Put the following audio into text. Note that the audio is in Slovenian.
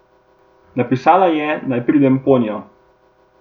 Napisala je, naj pridem za njo.